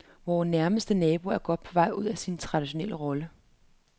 Vor nærmeste nabo er godt på vej ud af sin traditionelle rolle.